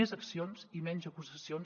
més accions i menys acusacions